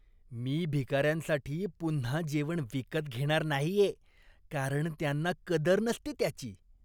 मी भिकाऱ्यांसाठी पुन्हा जेवण विकत घेणार नाहीये कारण त्यांना कदर नसते त्याची.